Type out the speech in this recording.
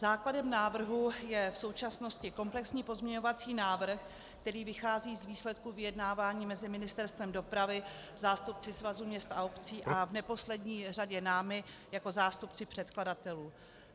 Základem návrhu je v současnosti komplexní pozměňovací návrh, který vychází z výsledků vyjednávání mezi Ministerstvem dopravy, zástupci Svazu měst a obcí a v neposlední řadě námi jako zástupci předkladatelů.